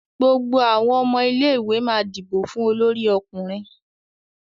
gbogbo awọn ọmọ ilé ìwé má dibo fún Olórí ọkùnrin.